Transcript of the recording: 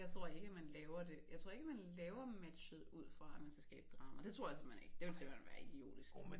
Jeg tror ikke at man laver det jeg tror ikke at man laver matchet ud fra at man skal skabe drama det tror jeg simpelthen ikke det ville simpelthen være idiotisk